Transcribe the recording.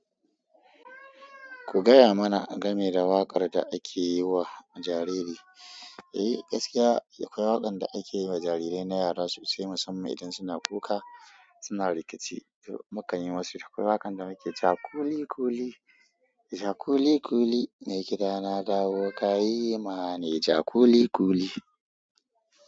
Ku gaya mana game da waƙar da ake yi wa jariri. Eh gaskiya akwai waƙan da ake yi ma jarirai na yara sosai musamman idan suna kuka, suna rikici mukan yi musu. Akwai waƙan da muke cewa kuli kuli, ja kuli kuli, mai gida na dawo ka yi ma ni, ja kuli kuli.